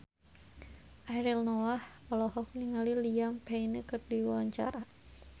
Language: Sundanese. Ariel Noah olohok ningali Liam Payne keur diwawancara